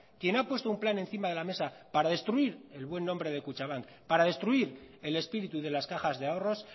quien ha puesto un plan encima de la mesa para destruir el buen nombre de kutxabank para destruir el espíritu de las cajas de ahorros